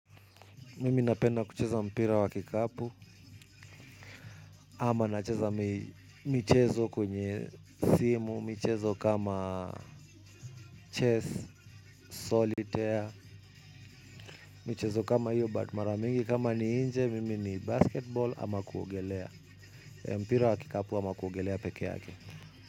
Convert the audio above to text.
Mimi napenda kucheza mpira wa kikapu ama nacheza michezo kwenye simu, michezo kama chess, solitaire, mchezo kama hiyo but maramingi kama ni nje mimi ni basketball ama kuogelea mpira wa kikapu ama kuogelea peke yake.